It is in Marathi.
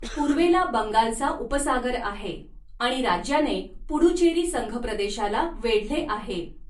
पूर्वेला बंगालचा उपसागर आहे आणि राज्याने पुडुचेरी संघप्रदेशाला वेढले आहे.